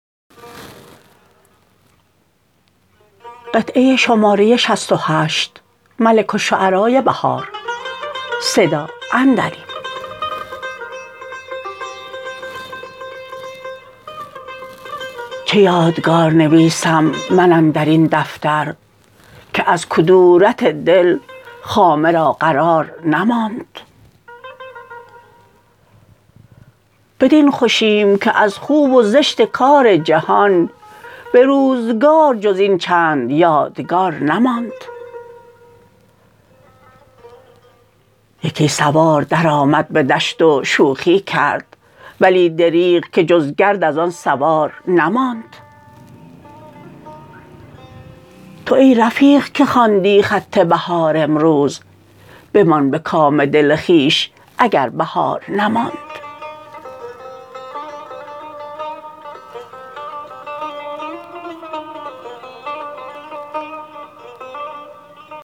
چه یادگار نویسم من اندرین دفتر که از کدورت دل خامه را قرار نماند بدین خوشیم که از خوب و زشت کار جهان به روزگار جز این چند یادگار نماند یکی سوار درآمد به دشت و شوخی کرد ولی دریغ که جز گرد از آن سوار نماند تو ای رفیق که خواندی خط بهار امروز بمان به کام دل خویش اگر بهار نماند